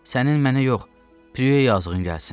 Sənin mənə yox, Prueyə yazığın gəlsin.